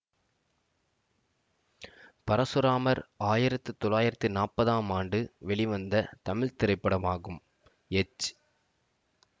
பரசுராமர் ஆயிரத்தி தொளாயிரத்தி நாற்பதாம் ஆண்டு வெளிவந்த தமிழ் திரைப்படமாகும் எச்